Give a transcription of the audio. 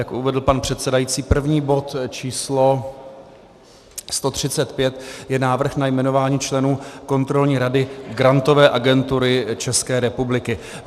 Jak uvedl pan předsedající, první bod, číslo 135, je návrh na jmenování členů Kontrolní rady Grantové agentury České republiky.